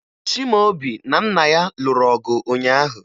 Chimaobi na nna ya lụrụ ọgụ ụnyaahụ